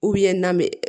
na bɛ